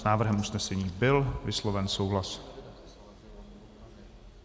S návrhem usnesení byl vysloven souhlas.